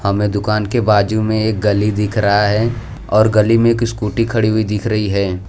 हमें दुकान के बाजू में एक गली दिख रहा है और गली में एक स्कूटी खड़ी हुई दिख रही है।